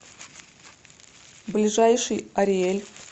ближайший ариель